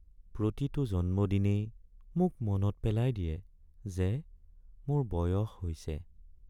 প্ৰতিটো জন্মদিনেই মোক মনত পেলাই দিয়ে যে মোৰ বয়স হৈছে।